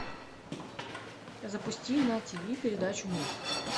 запусти на ти ви передачу мульт